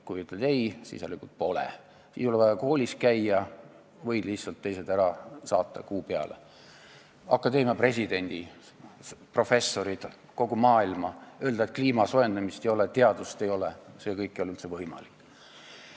Kui ütled ei, siis järelikult seda pole, siis ei ole vaja koolis käia, võid lihtsalt teised kuu peale saata, akadeemia presidendi, professorid, kogu maailma, ning öelda, et kliima soojenemist ja teadust ei ole, see kõik ei ole üldse võimalik.